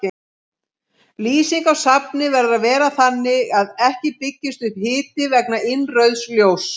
Lýsing á safni verður að vera þannig að ekki byggist upp hiti vegna innrauðs ljóss.